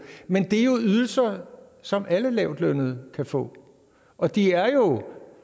men det er ydelser som alle lavtlønnede kan få og det er jo